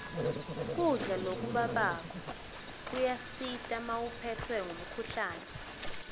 kudla lokubabako kuyasita mawuphetswe ngumkhuhlane